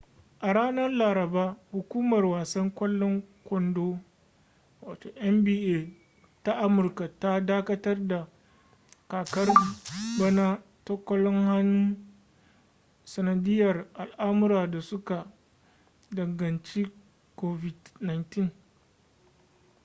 a ranar laraba hukumar wasan kwalon kondo nba ta amurka ta dakatar da kakar bana ta kwallon hannu sanadiyar al’amura da suka danganci covid-19